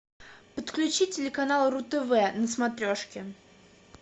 подключи телеканал ру тв на смотрешке